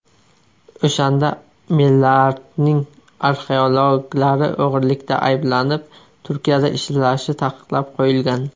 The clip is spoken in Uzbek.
O‘shanda Mellartning arxeologlari o‘g‘irlikda ayblanib, Turkiyada ishlashi taqiqlab qo‘yilgan.